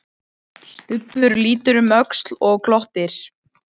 Stubbur lítur um öxl og glottir.